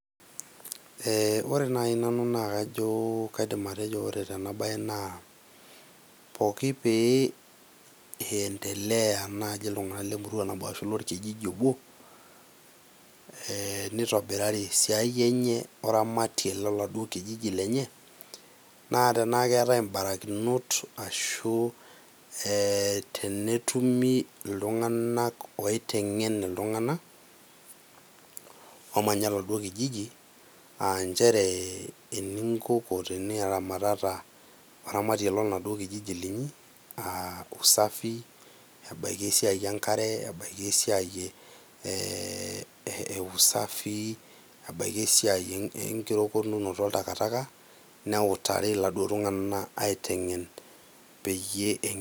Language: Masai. Ee ore nai nanu naa kaidim atejo tena bae naa poki pee iendelea iltunganak lemurua nabo ashu lorkijiji obo , ee nitobirari esiai enye oramatie loladuo kijiji lenye naa tenaa keetae mbarakinot ashu tenetumi iltunganak oitengen iltunganak omanya oladuoo kijiji ,aa nchere enikoko teniramatata oramatie loladuoo kijiji liniyi , aa usafi, ebaiki esiai enkare, ebaiki esiai eusafi ebaiki esiai enkirokotunoto oltakitaka neutari iladuo tunganak aitengen peyie .